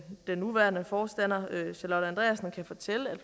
nuværende forstander charlotte andreassen kan fortælle at